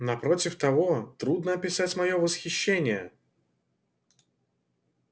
напротив того трудно описать моё восхищение